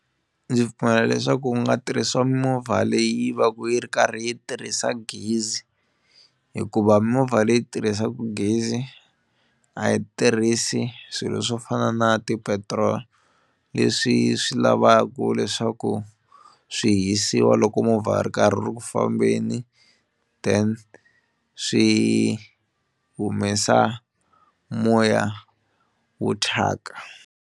Ndzi pfumela leswaku u nga tirhisiwa mimovha leyi va ka yi ri karhi yi tirhisa gezi hikuva mimovha leyi tirhisaka gezi a yi tirhisi swilo swo fana na ti-petrol leswi swi lavaka leswaku swi hisiwa loko movha a ri karhi u ri ku fambeni then swi humesa moya wo thyaka.